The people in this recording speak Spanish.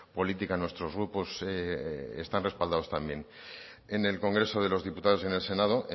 política nuestros grupos están respaldados también en el congreso de los diputados y en el senado